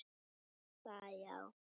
Já, það já.